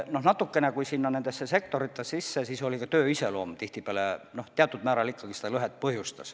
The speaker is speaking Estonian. Kui nendesse sektoritesse süveneda, siis selgub, et natukene mängib rolli ka töö iseloom, tihtipeale see teatud määral ikkagi seda lõhet põhjustab.